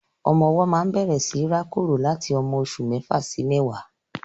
Ọmọ ọwọ́ máa ń bẹ̀rẹ̀ síi rákòrò láti ọmọ oṣù mẹ́fà sí mẹ́wàá.